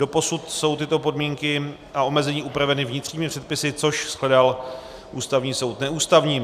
Doposud jsou tyto podmínky a omezení upraveny vnitřními předpisy, což shledal Ústavní soud neústavním.